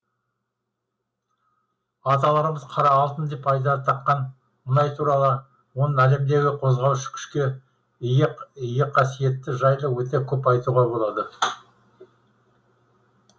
аталарымыз қара алтын деп айдар таққан мұнай туралы оның әлемдегі қозғаушы күшке ие қасиеті жайлы өте көп айтуға болады